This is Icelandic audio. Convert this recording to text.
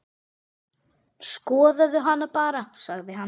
Skoðaðu hana bara, sagði hann.